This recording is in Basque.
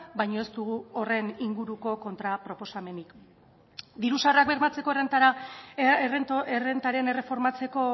baino ez dugu horren inguruko kontraproposamenik diru sarrerak bermatzeko errentaren erreformatzeko